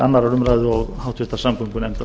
annarrar umræðu og háttvirtrar samgöngunefndar